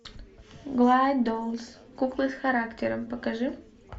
глайдолс куклы с характером покажи